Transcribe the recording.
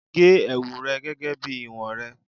ge ẹwu rẹ gẹgẹ bi iwọn rẹ